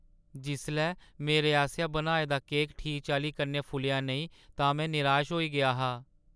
जिसलै मेरे आसेआ बनाए दा केक ठीक चाल्ली कन्नै फुल्लेआ नेईं तां में निराश होई गेआ हा।